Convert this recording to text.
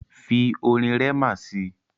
Fi orin Rema si!